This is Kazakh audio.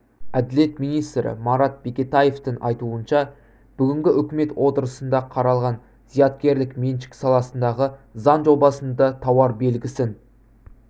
әділет министрі марат бекетаевтың айтуынша бүгінгі үкімет отырысында қаралған зияткерлік меншік саласындағы заң жобасында тауар белгісін